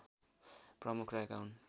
प्रमुख रहेका हुन्